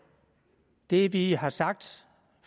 det vi har sagt